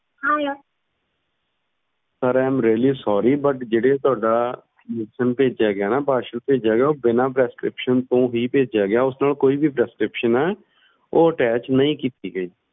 siriamreallysorry ਜਿਹੜੇ ਤੁਹਾਡਾ ਭੇਜਿਆ ਗਿਆ ਨਾ parcel ਭੇਜਿਆ ਗਿਆ ਉਹ ਬਿਨਾ prescription ਤੋਂ ਹੀ ਭੇਜਿਆ ਗਿਆ ਉਏ ਨਾਲ ਕੋਈ ਵੀ prescriptionattach ਨਹੀਂ ਕੀਤਾ ਗਿਆ